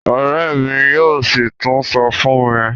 Òré mí yóò sí tún sọ fún mi.